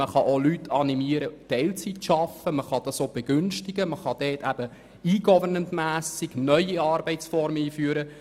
Man kann auch Leute dazu animieren, Teilzeit zu arbeiten, oder man kann im Sinne des E-Governments neue Arbeitsformen einführen.